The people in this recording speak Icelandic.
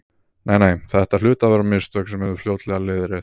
Nei, nei, þetta hlutu að vera mistök sem yrðu fljótlega leiðrétt.